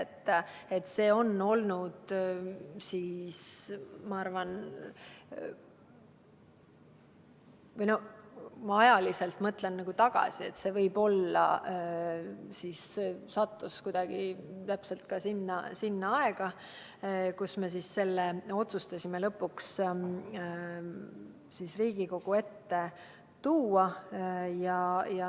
Kui ma ajas tagasi mõtlen, siis võib-olla tõesti sattus see kuidagi täpselt samasse aega ja me otsustasime selle lõpuks Riigikogu ette tuua.